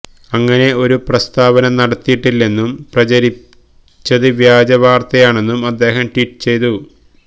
അങ്ങനെ ഒരു പ്രസ്താവന നടത്തിയിട്ടില്ലെന്നും പ്രചരിച്ചത് വ്യാജ വാര്ത്തയാണെന്നും അദ്ദേഹം ട്വീറ്റ് ചെയ്തു